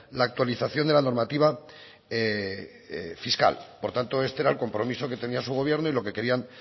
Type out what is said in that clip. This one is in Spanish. la actualización de la normativa fiscal por tanto este era el compromiso que tenía su gobierno y lo que querían